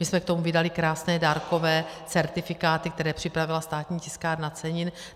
My jsme k tomu vydali krásné dárkové certifikáty, které připravila Státní tiskárna cenin.